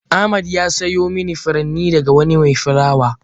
Ahmed ya siyo mani furanni daga wani mai fulawa.